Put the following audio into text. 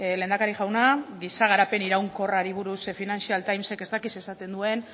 lehendakari jauna giza garapen iraunkorrari buruz financial times ek ez dakit zer esaten duen